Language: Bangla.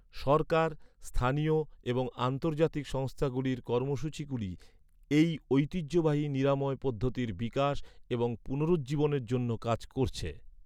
সরকার, স্থানীয় এবং আন্তর্জাতিক সংস্থাগুলির কর্মসূচিগুলি এই ঐতিহ্যবাহী নিরাময় পদ্ধতির বিকাশ এবং পুনরুজ্জীবনের জন্য কাজ করছে।